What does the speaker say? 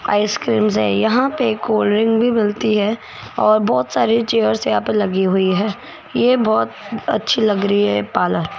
ice cream से यहां पर कोल्ड ड्रिंक भी मिलती है और बहुत सारे चेयर्स यहां पर लगी हुई है ये बहुत अच्छी लग रही है पार्लर --